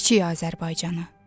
Kiçik Azərbaycanı.